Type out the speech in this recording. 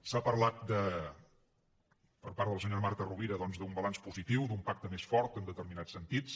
s’ha parlat per part de la senyora marta rovira doncs d’un balanç positiu d’un pacte més fort en determinats sentits